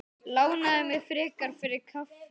Lánaðu mér frekar fyrir kaffi.